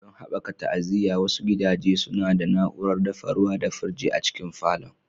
Don haɓaka ta'aziyya, wasu gidaje suna da na'urar dafa ruwa da firji a cikin falon.